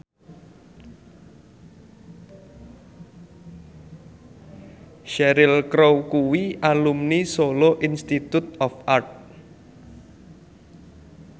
Cheryl Crow kuwi alumni Solo Institute of Art